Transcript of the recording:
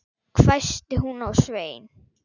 hvæsti hún á Svein